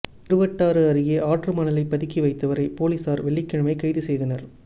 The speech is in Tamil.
திருவட்டாறு அருகே ஆற்று மணலை பதுக்கி வைத்தவரை போலீஸாா் வெள்ளிக்கிழமை கைது செய்தனா்